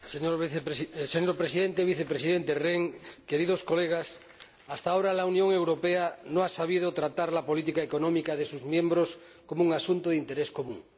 Señor Presidente, Vicepresidente Rehn, Señorías, hasta ahora la Unión Europea no ha sabido tratar la política económica de sus miembros como un asunto de interés común.